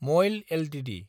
मयल Ltd